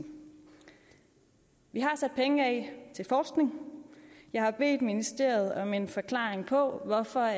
vi har sat penge af til forskning jeg har bedt ministeriet om en forklaring på hvorfor